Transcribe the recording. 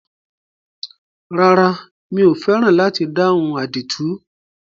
Rárá, mi ò fẹ́ràn láti dáhùn àdìtú.